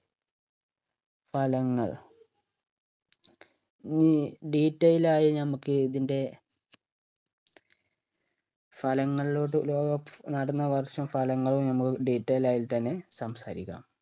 ഫലങ്ങൾ ഇനി detail ആയി നമ്മക്ക് ഇതിൻറെ ഫലങ്ങളിലോട്ട് ലോക cup നടന്ന വർഷം ഫലങ്ങൾ നമ്മക്ക് detail ആയിട്ടെന്നെ സംസാരിക്കാം